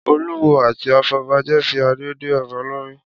Olúwo àti afọbajẹ fi adé dé ọba lórí